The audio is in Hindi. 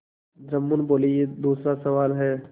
जुम्मन बोलेयह दूसरा सवाल है